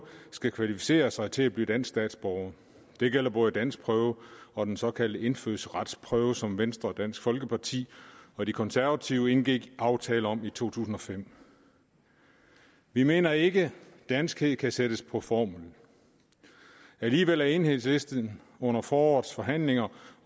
skal kvalificere sig til at blive dansk statsborger det gælder både danskprøven og den såkaldte indfødsretsprøve som venstre dansk folkeparti og de konservative indgik aftale om i to tusind og fem vi mener ikke danskhed kan sættes på formel alligevel er enhedslisten under forårets forhandlinger